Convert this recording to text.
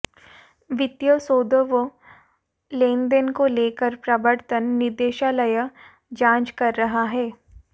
वित्तीय सौदों व लेनदेन को लेकर प्रवर्तन निदेशालय जांच कर रहा है